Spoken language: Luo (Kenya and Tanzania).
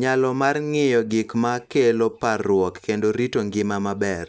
nyalo mar ng'iyo gik ma kelo parruok kendo rito ngima maber,